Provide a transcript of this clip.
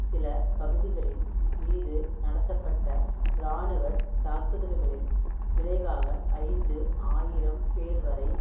சில பகுதிகளின் மீது நடத்தப்பட்ட இராணுவ தாக்குதல்களில் விளைவாக ஐந்து ஆயிரம் பேர்வரை